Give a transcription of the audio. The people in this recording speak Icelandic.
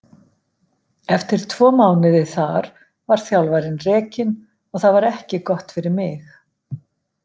Eftir tvo mánuði þar var þjálfarinn rekinn og það var ekki gott fyrir mig.